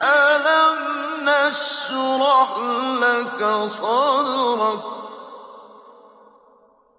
أَلَمْ نَشْرَحْ لَكَ صَدْرَكَ